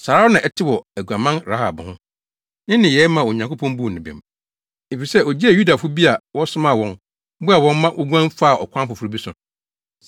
Saa ara na ɛte wɔ aguaman Rahab ho. Ne nneyɛe maa Onyankopɔn buu no bem, efisɛ ogyee Yudafo bi a wɔsomaa wɔn, boaa wɔn ma woguan faa ɔkwan foforo bi so.